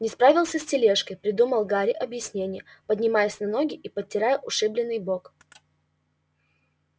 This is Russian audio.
не справился с тележкой придумал гарри объяснение поднимаясь на ноги и потирая ушибленный бок